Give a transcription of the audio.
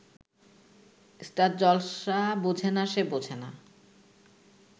star Jalsha বোঝেনা সে বোঝেনা